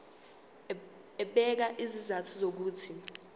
ebeka izizathu zokuthi